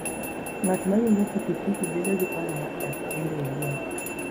Ng'at ma riembo pikipiki bedo gi paro mar dak kende owuon.